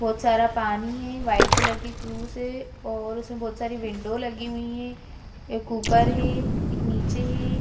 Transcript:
बहोत सारा पानी है वाइट कलर की क्रूस है और उसमें बहोत सारी विंडो लगी हुई हैं एक ऊपर है एक नीचे है।